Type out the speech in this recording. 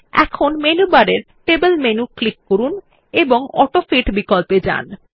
এখন মেনুবারের table menu click করুন এবং অটোফিট বিকল্প এ যান